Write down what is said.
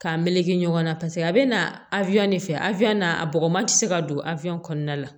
K'a meleke ɲɔgɔn na paseke a bɛ na a de fɛ afɛrɛn a bɔgɔman ti se ka don a kɔnɔna la